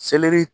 Selɛri